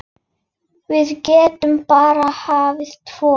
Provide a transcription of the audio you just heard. Við getum bara farið tvö.